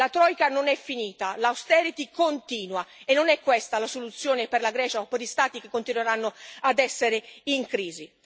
La troika non è finita l' austerity continua e non è questa la soluzione per la Grecia o per gli Stati che continueranno ad essere in crisi.